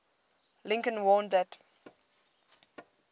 lincoln warned that